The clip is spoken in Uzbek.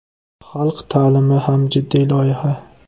Xalq ta’limi ham jiddiy loyiha.